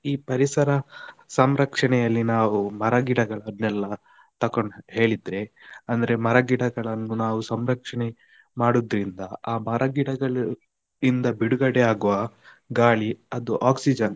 ಈ ಪರಿಸರ ಸಂರಕ್ಷಣೆಯಲ್ಲಿ ನಾವು ಮರಗಿಡರಗಳನ್ನೆಲ್ಲ ತಕ್ಕೊಂಡು ಹೇಳಿದ್ರೆ, ಅಂದ್ರೆ ಮರ ಗಿಡಗಳನ್ನು ನಾವು ಸಂರಕ್ಷಣೆ ಮಾಡುದ್ರಿಂದ, ಆ ಮರ ಗಿಡಗಳು ಇಂದ ಬಿಡುಗಡೆ ಆಗುವ ಗಾಳಿ ಅದು oxygen .